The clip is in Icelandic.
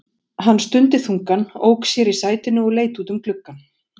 Hann stundi þungan, ók sér í sætinu og leit út um gluggann.